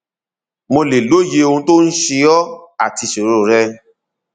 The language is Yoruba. mo lè lóye ohun tó ń ṣe ọ àti ìṣoro rẹ